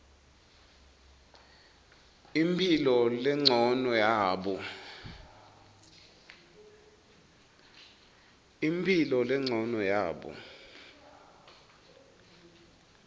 imphilo lencono yabo